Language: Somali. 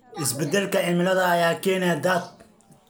Isbeddelka cimilada ayaa keenaya daad.